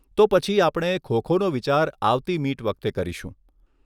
તો પછી આપણે ખો ખોનો વિચાર આવતી મીટ વખતે કરીશું.